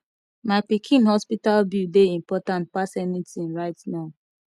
my pikin hospital bill dey important pass anything right now